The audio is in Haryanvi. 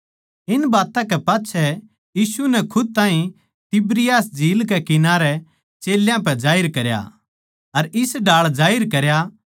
इन बात्तां कै पाच्छै यीशु नै खुद ताहीं तिबिरियास झील कै किनारै चेल्यां पै जाहिर करया अर इस ढाळ जाहिर करया